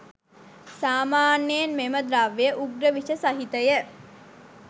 සාමාන්‍යයෙන් මෙම ද්‍රව්‍ය උග්‍ර විෂ සහිතය.